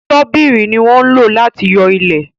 Ṣọ́bìrì ní wọn lò láti yo ilẹ